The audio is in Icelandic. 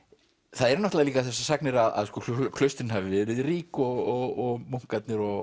það eru náttúrulega líka þessar sagnir að klaustrin hafi verið rík og munkarnir og